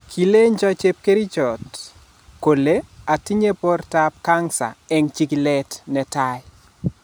Kilenjoo chepkerichot kolee atinyei bortaab kansa eng chigileet ne taaii